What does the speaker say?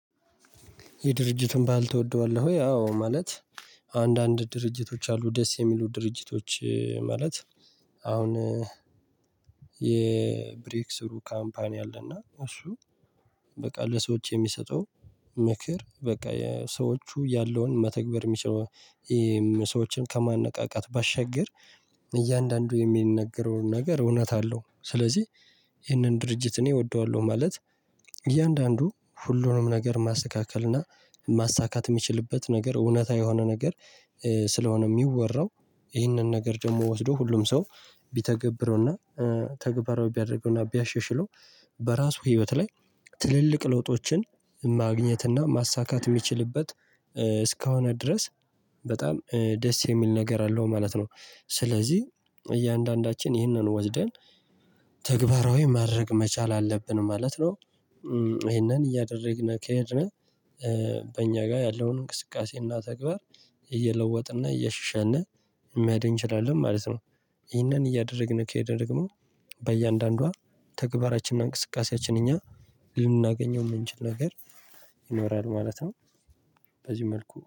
የድርጅቱን ባህል ትወደዋለህ? አው ማለት አንዳንድ ድርጅቶች አሉ ደስ የሚሉ ድርጅቶች ማለት አሁን የብሬክ ስሩ ካምፓኒ አለና እሱ በቃ ለሰዎች የሚሰጠው ምክር በቃ ሰዎቹ ያለውን መተግበር የሚችለው ሰዎችን ከማንቃት ባሻገር እያንዳንዱ የሚነገረውን ነገር እውነት አለው ስለዚህ ይህንን ድርጅት እኔ እወደዋለሁ ማለት እያንዳንዱ ሁሉንም ነገር ማስተካከል እና ማሳካት የሚችልበት ነገር እውነታ የሆነ ነገር ስለሆነ የሚወራው ይህንን ነገር ደግሞ ወስዶ ሁሉም ሰው ቢተገብረውና ተግባራዊ ቢያደርገውና ቢያሻሽለው በራሱ ህይወት ላይ ትልልቅ ለውጦችን ማግኘት እና ማሳካት የሚችልበት እስከሆነ ድረስ በጣም ደስ የሚል ነገር አለው ማለት ነው። ስለዚህ እያንዳንዳችን ይህንን ወስደን ተግባራዊ ማድረግ መቻል አለብን ማለት ነው። ይሄንን እያደረግን ከሄድን በእኛ ጋር ያለውን እንቅስቃሴና ተግባር እየለወጥንና እያሻሻልን መሄድ እንችላለን ማለት ነው ይህንን እያደረግን ከሄደ ደግሞ በእያንዳንዷ ተግባራችንና እንቅስቃሴያችን እኛ ልናገኘው የምንችል ነገር ይኖራል ማለት ነው በዚህ መልኩ